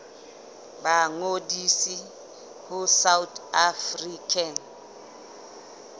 ba ngodise ho south african